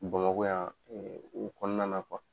Bamakɔ yan u kɔnɔna